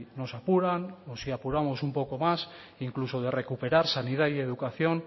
nos apuran o si apuramos un poco más incluso de recuperar sanidad y educación